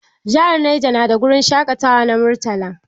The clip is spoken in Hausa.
Jahar Neja nada wurin shaƙatawa na Murtala